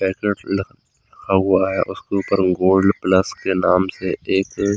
packets रखा हुआ है उसके ऊपर गोल्ड प्लस के नाम से एक--